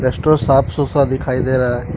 Restaurant साफ सुथरा दिखाई दे रहा है।